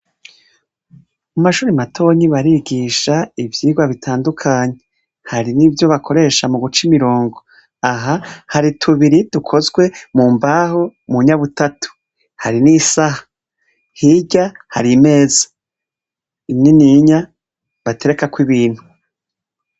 Mu mashure matonyi barigisha ivyigwa bitandukanye. Hari n'ivyo bakoresha mu guca imirongo. Aha hari tubiri dukozwe mu mbaho, mu nyabutatu, hari n'isaha. Hirya hari imeza nininya baterekako ibintu.